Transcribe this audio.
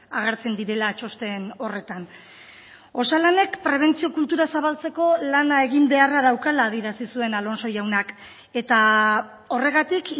agertzen direla txosten horretan osalanek prebentzio kultura zabaltzeko lana egin beharra daukala adierazi zuen alonso jaunak eta horregatik